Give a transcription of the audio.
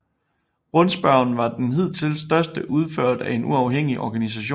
Rundspørgen var den hidtil største udført af en uafhængig organisation